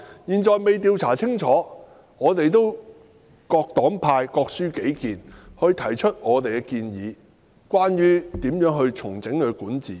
現在尚未調查清楚，各黨各派就各抒己見，提出各人對重整管治的建議。